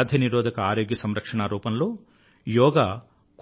వ్యాధి నిరోధక ఆరోగ్య సంరక్షణprevintive హెల్త్కేర్ రూపంలో యోగా